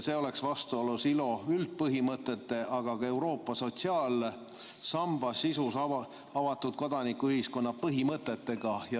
See oleks vastuolus ILO üldpõhimõtetega, aga ka Euroopa sotsiaalsamba sisus avatud kodanikuühiskonna põhimõtetega.